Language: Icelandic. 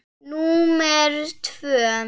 númer tvö.